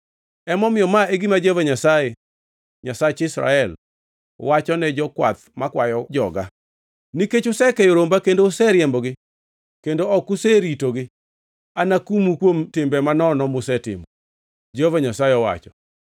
Emomiyo ma e gima Jehova Nyasaye, Nyasach Israel, wachone jokwath makwayo joga: “Nikech usekeyo romba kendo uriembogi kendo ok useritogi, anakumu kuom timbe mamono musetimo,” Jehova Nyasaye owacho.